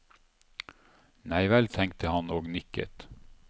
Neivel, tenkte han og nikket.